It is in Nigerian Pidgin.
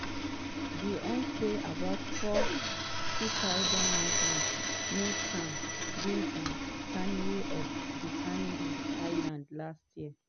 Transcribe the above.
di un say about 40000 migrants make am to di canary di canary islands last year.